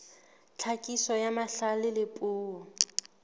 tlhakiso ya mahlale a puo